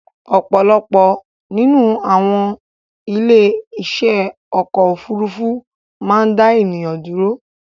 Ọ̀pọ̀lọpọ̀ nínú àwon ilé iṣé ọ̀kọ̀ ofúrufú má n dá ènìyàn dúró